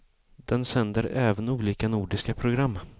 Den sänder även olika nordiska program.